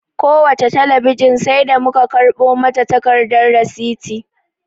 Kowace talabijin sai da mu ka karɓo mata takardar risiti